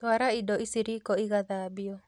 Twara indo ici riko igathambio